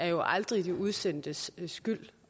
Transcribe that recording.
jo aldrig er de udsendtes skyld